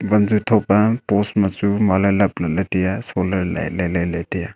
wanju thop pa post ma chu muale lap lahle tai a solar lah lai lai le tai a.